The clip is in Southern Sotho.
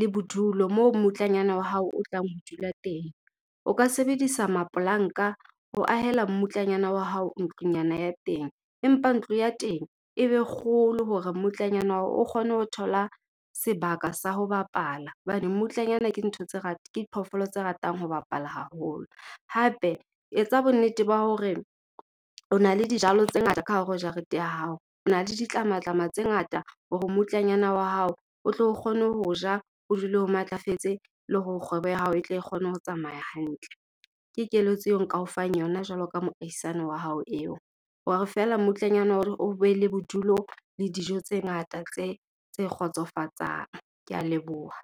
le bodulo moo mmutlanyana wa hao o tlang ho dula teng. O ka sebedisa mapolanka ho ahela mmutlanyana wa hao ntlonyana ya teng. Empa ntlo ya teng e be kgolo hore mmutlanyana o kgone ho thola sebaka sa ho bapala, hobane mmutlanyana ke ntho tse , ke diphoofolo tse ratang ho bapala haholo. Hape etsa bonnete ba hore o na le dijalo tse ngata ka hare ho jarete ya hao, o na le ditlamatlama tse ngata hore mmutlanyana wa hao o tlo kgona ho ja, o dule o matlafetse le hore kgwebo ya hao e tle kgone ho tsamaya hantle. Ke keletso eo nka o fang yona jwalo ka moahisani wa hao eo. Hore feela mmutlanyana o be le bodulo le dijo tse ngata tse kgotsofatsang. Kea leboha.